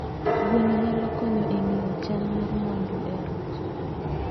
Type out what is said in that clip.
Gweno nyalo konyo e ng'eyo chal mar mwando e ot.